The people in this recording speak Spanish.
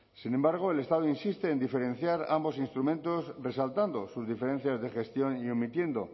sin embargo el estado insiste en diferenciar ambos instrumentos resaltando sus diferencias de gestión y omitiendo